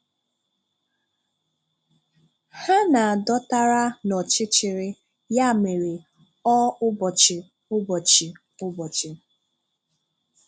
Ha na-dọ̀tàrà na ọchịchịrị, ya mere, ọ́ ụbọchị ụbọchị ụbọchị.